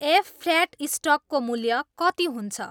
F. Flat स्टकको मूल्य कति हुन्छ